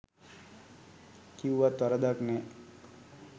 කිව්වත් වරදක් නෑ